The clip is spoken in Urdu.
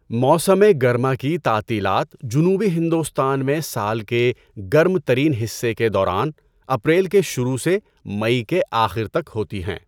موسم گرما کی تعطیلات جنوبی ہندوستان میں سال کے گرم ترین حصے کے دوران اپریل کے شروع سے مئی کے آخر تک ہوتی ہیں۔